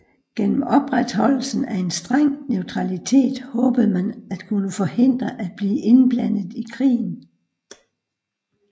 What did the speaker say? Gennem opretholdelsen af en streng neutralitet håbede man at kunne forhindre at blive indblandet i krigen